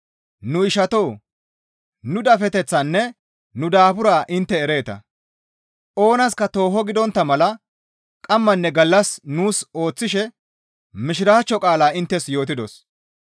Nu ishatoo! Nu dafeteththaanne nu daaburaa intte ereeta; oonaska tooho gidontta mala qammanne gallas nuus ooththishe Mishiraachcho qaalaa inttes yootidos.